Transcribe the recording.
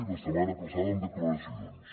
la setmana passada amb declaracions